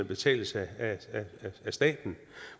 betales af staten